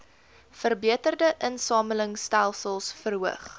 verbeterde insamelingstelsels verhoog